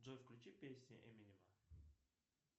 джой включи песни эминема